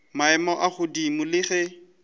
maemo a godimo le ge